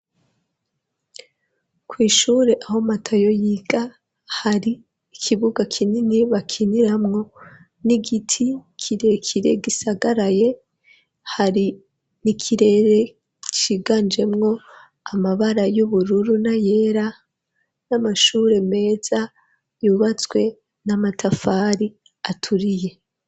Kw'ishure aho Matayo yiga hari ikibuga kinini bakiniramwo n'igiti kirekire gisagaraye hari n'ikirere ciganjemwo amabara y'ubururu na yera n'amashure meza yubatswe n'amatafari aturiye